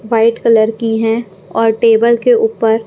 white colour की हैं और टेबल के ऊपर--